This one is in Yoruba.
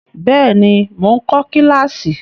Bẹ́ẹ̀ ni, mò ń kọ kíláàsì.